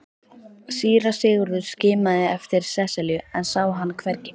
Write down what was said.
Síra Sigurður skimaði eftir Sesselju en sá hana hvergi.